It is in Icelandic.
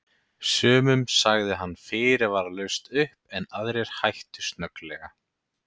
Sumum sagði hann fyrirvaralaust upp en aðrir hættu snögglega.